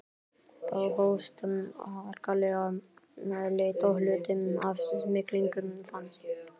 Þá hófst harkaleg leit og hluti af smyglinu fannst.